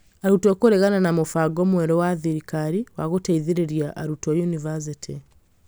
arutwo kũregana na mũbango mwerũ wa thirikari wa gũteithĩrĩria arutwo yunivasĩtĩ